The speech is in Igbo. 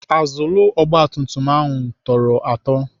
Azụlụ ogbatumtum ahụ tọrọ atọ.